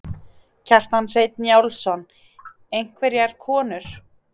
Kjartan Hreinn Njálsson: Einhverjar konur?